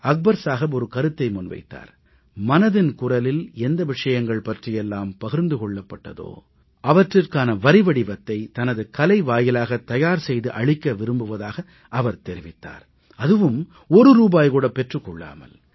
அக்பர் சாஹப் ஒரு கருத்தை முன்வைத்தார் மனதின் குரலில் எந்த விஷயங்கள் பற்றியெல்லாம் பகிர்ந்து கொள்ளப்பட்டதோ அவற்றிற்கான வரிவடிவத்தை தனது கலை வாயிலாக தயார் செய்து அளிக்க விரும்புவதாகத் தெரிவித்தார் அதுவும் ஒரு ரூபாய் கூட பெற்றுக் கொள்ளாமல்